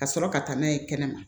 Ka sɔrɔ ka taa n'a ye kɛnɛma